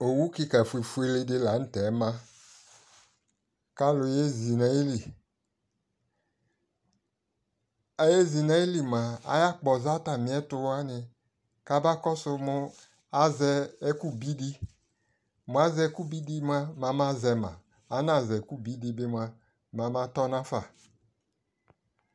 Owu kɩka fufuele dɩ la nʋ tɛ ma kʋ alʋ yezi nʋ ayili Ayezi nʋ ayili mʋa, ayakpɔza atamɩɛtʋ wanɩ kamakɔsʋ nʋ azɛ ɛkʋbi dɩ Mʋ azɛ ɛkʋbi dɩ mʋa, mɛ amazɛ ma, mʋ anazɛ ɛkʋbi dɩ bɩ mʋa, mɛ amatɔ nafa